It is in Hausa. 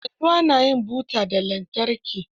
Yanzu ana yin buta ta lantarki.